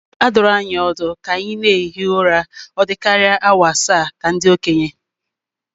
A dụrụ anyị ọdụ ka anyị na-ehi ụra ọ dịkarịa ala awa asaa ka ndị okenye